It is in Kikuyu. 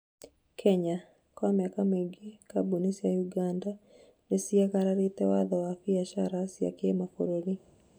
Kenya : kwa mĩaka mĩingĩ kamboni cia Uganda niciagararĩte watho wa biashara cia kĩmabũruri